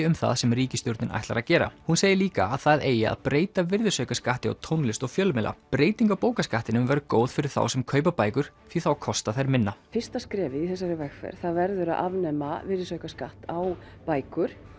um það sem ríkisstjórnin ætlar að gera hún segir líka að það eigi að breyta virðisaukaskatti á tónlist og fjölmiðla breyting á bókaskattinum verður góð fyrir þá sem kaupa bækur því þá kosta þær minna fyrsta skrefið í þessari vegferð verður að afnema virðisaukaskatt á bækur